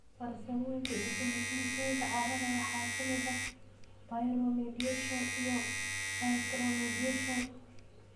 Farsamooyinka dib-u-heshiisiinta carrada waxaa ka mid ah bioremediation iyo phytoremediation.